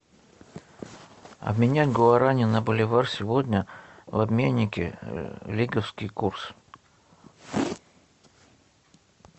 обменять гуарани на боливар сегодня в обменнике лиговский курс